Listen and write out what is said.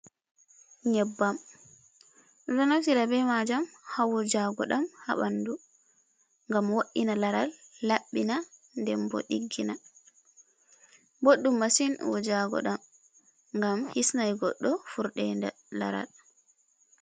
Nyebbam enɗo naftira ɓe majam hawujago ɗam habandu ngam wo’ina laral, laɓɓina den ɓo ɗiggina, boɗdum masin wujago ɗam ngam hisnai goddo furdeda. laral